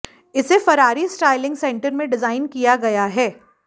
इसे Ferrari styling centre में design किया गया है